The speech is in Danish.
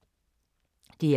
DR2